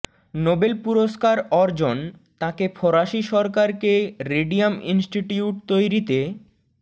Nobel পুরস্কার অর্জন তাঁকে ফরাসি সরকারকে রেডিয়াম ইন্সটিটিউট তৈরিতে